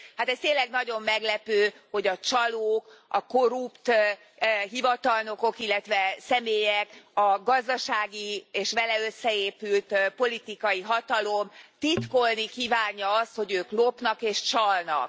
Hát ez tényleg nagyon meglepő, hogy a csalók, a korrupt hivatalnokok, illetve személyek a gazdasági és vele összeépült politikai hatalom titkolni kívánja azt, hogy ők lopnak és csalnak.